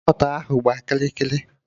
Karọt ahụ gbaa kịrị kịrị